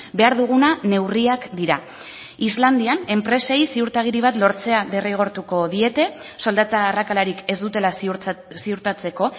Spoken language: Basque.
behar duguna neurriak dira islandian enpresei ziurtagiri bat lortzea derrigortuko diete soldata arrakalarik ez dutela ziurtatzeko